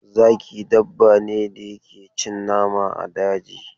Zaki dabbane da yake cin nama a daji.